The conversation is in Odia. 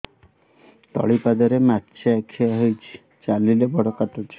ତଳିପାଦରେ ମାଛିଆ ଖିଆ ହେଇଚି ଚାଲିଲେ ବଡ଼ କାଟୁଚି